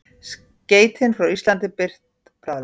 Skeytin frá Íslandi birt bráðlega